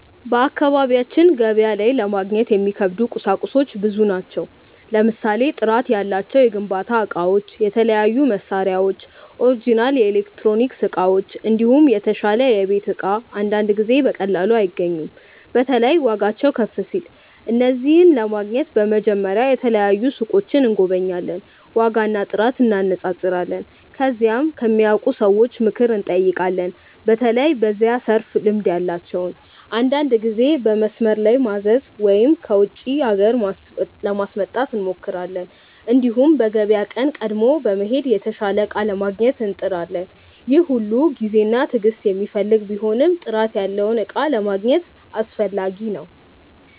በአካባቢያችን ገበያ ላይ ለማግኘት የሚከብዱ ቁሳቁሶች ብዙ ናቸው። ለምሳሌ ጥራት ያላቸው የግንባታ እቃዎች፣ የተለያዩ መሳሪያዎች፣ ኦሪጅናል ኤሌክትሮኒክስ እቃዎች፣ እንዲሁም የተሻለ የቤት እቃ አንዳንድ ጊዜ በቀላሉ አይገኙም። በተለይ ዋጋቸው ከፍ ሲል። እነዚህን ለማግኘት በመጀመሪያ የተለያዩ ሱቆችን እንጎበኛለን፣ ዋጋና ጥራት እንነጻጸራለን። ከዚያም ከሚያውቁ ሰዎች ምክር እንጠይቃለን፣ በተለይ በዚያ ዘርፍ ልምድ ያላቸውን። አንዳንድ ጊዜ በመስመር ላይ ማዘዝ ወይም ከውጪ ሀገር ለማስመጣት እንሞክራለን። እንዲሁም በገበያ ቀን ቀድሞ በመሄድ የተሻለ እቃ ለማግኘት እንጥራለን። ይህ ሁሉ ጊዜና ትዕግስት የሚፈልግ ቢሆንም ጥራት ያለውን እቃ ለማግኘት አስፈላጊ ነው።